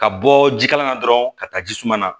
Ka bɔ ji kala la dɔrɔn ka taa ji suman na